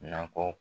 Nakɔ